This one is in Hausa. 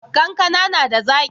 Kankana na da zaki?